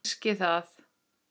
Kannski það.